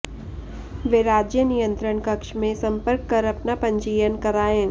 वे राज्य नियंत्रण कक्ष में संपर्क कर अपना पंजीयन करायें